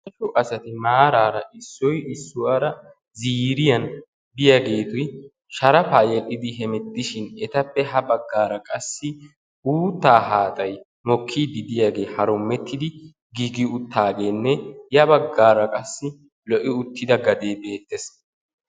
Daro asati maaraara issoy issuwara ziiriyan biyaageeti sharafaa yedhidi hemettishin etappe ha baggaara qassi uuttaa haaxay mokkiidi diyagee harumetidi gigi uttaageenne ya baggaara qassi lo'i uttida gadee beettees.